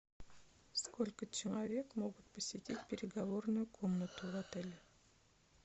сколько человек могут посетить переговорную комнату в отеле